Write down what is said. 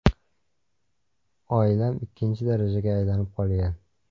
Oilam ikkinchi darajaga aylanib qolgan.